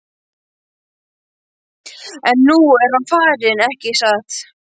En nú er hann farinn, ekki satt?